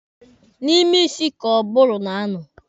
N'ime isi ka ụbụrụ na-anọ.